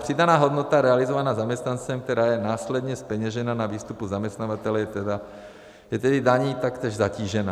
Přidaná hodnota realizovaná zaměstnancem, která je následně zpeněžena na výstupu zaměstnavatele, je tedy daní taktéž zatížena.